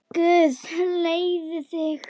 Guð leiði þig.